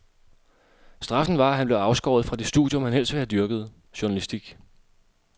Straffen var, at han blev afskåret fra det studium, han helst ville have dyrket, journalistik.